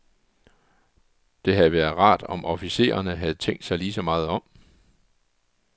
Det havde været rart, om officererne havde tænkt sig lige så meget om.